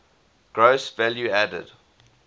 gross value added